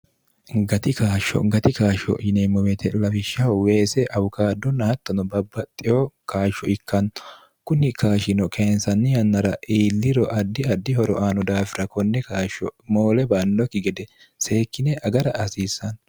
gati kaashsho gati kaashsho yineemmo beete lawishshaho weese awukaaddonna hattono babba xeyo kaashsho ikkanno kunni kaashino keensanni yannara iilliro addi addi horoaano daafira konne kaashsho moole bannokki gede seekkine agara asiissanno